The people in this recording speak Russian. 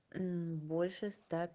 больше ста